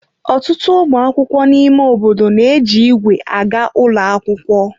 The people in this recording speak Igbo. Ọtụtụ ụmụ akwụkwọ na ime obodo na-eji ígwè aga ụlọ akwụkwọ.